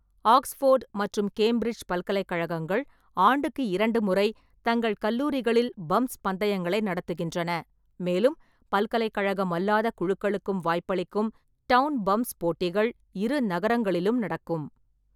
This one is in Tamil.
ஆக்ஸ்போர்டு மற்றும் கேம்பிரிட்ஜ் பல்கலைக்கழகங்கள் ஆண்டுக்கு இரண்டு முறை தங்கள் கல்லூரிகளில் பம்ப்ஸ் பந்தயங்களை நடத்துகின்றன, மேலும் பல்கலைக்கழகம் அல்லாத குழுக்களுக்கும் வாய்ப்பளிக்கும் டவுன் பம்ப்ஸ் போட்டிகள் இரு நகரங்களிலும் நடக்கும்.